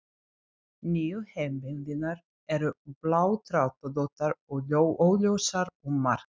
Nýju heimildirnar eru bláþráðóttar og óljósar um margt.